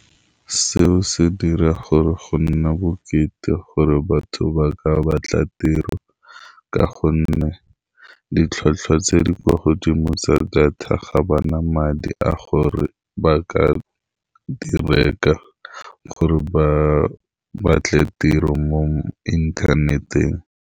Seo se dira gore go nne bokete gore batho ba ka batla tiro, ka gonne ditlhwatlhwa tse di kwa godimo tsa data, ga bana madi a gore ba ka di reka, gore ba batle tiro mo inthaneteng.